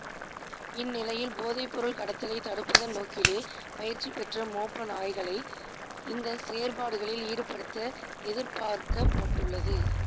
இந்நிலையில் போதைப்பொருள் கடத்தலை தடுப்பதன் நோக்கிலே பயிற்சிபெற்ற மோப்ப நாய்களை இந்த செயற்பாடுகளில் ஈடுபடுத்த எதிர்பார்க்கப்பட்டுள்ளது